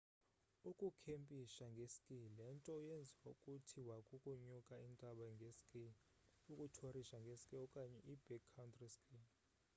ukukhempisha nge-ski le nto yenziwayo kuthiwa kukunyuka intaba nge-ski ukuthorisha nge-ski okanye i-backcountry ski